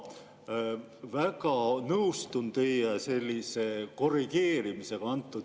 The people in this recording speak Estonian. Ma väga nõustun teie sellise korrigeerimisega.